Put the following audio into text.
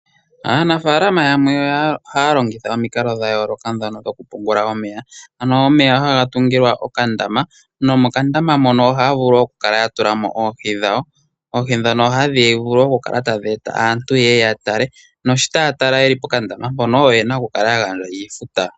Aanafalama yamwe ohaya longitha omikalo dha yooloka ndhono dhoku pungula omeya. Omeya haga tungilwa okandama nomokandama mono ohaya vulu oku kala ya tula mo oohi dhawo. Oohi ndhono hadhi vulu oku kala tadhi eta aantu ye ye ya tale naashi taya tala ye li pokandama mpono oyena oku kala ya gandja iifuta.